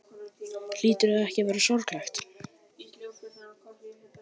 Hlýtur það ekki að vera sorglegt?